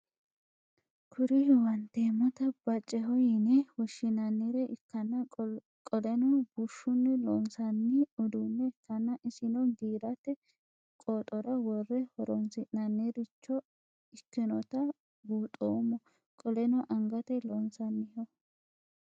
Kuri huwantemota bacceho yine woshinanire ikana qoleno bushuni loonsani udune ikana isino giirate qooxora wore horonsi'nanniricho ikinota buunxemo qoleno angate loonsaniho?